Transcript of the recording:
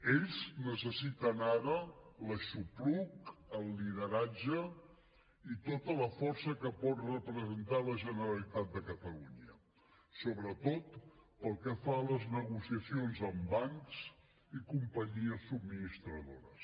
ells necessiten ara l’aixopluc el lideratge i tota la força que pot representar la generalitat de catalunya sobretot pel que fa a les negociacions amb bancs i companyies subministradores